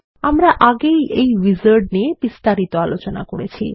আমরা আগেই এই উইজার্ড নিয়ে বিস্তারিত আলোচনা করেছি